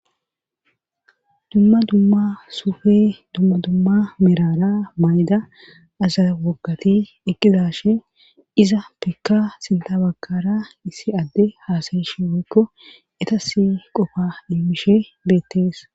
Dumma dumma suufe dumma dumma merara mayda aza waggati eqqizashe iza pekka sintabakara issi adde haasayishe weykko etasi qofa immishe beettees